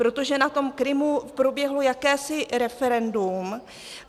Protože na tom Krymu proběhlo jakési referendum.